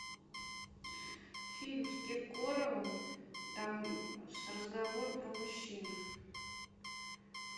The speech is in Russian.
фильм с киркоровым там разговор про мужчин